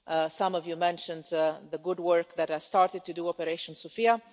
Some of you mentioned the good work that I started to do in Operation Sophia.